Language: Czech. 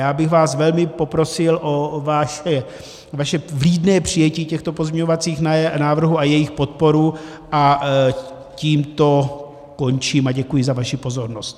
Já bych vás velmi poprosil o vaše vlídné přijetí těchto pozměňovacích návrhů a jejich podporu a tímto končím a děkuji za vaši pozornost.